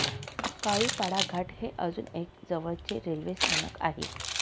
काळूपाडा घाट हे अजुन एक जवळचे रेल्वे स्थानक आहे.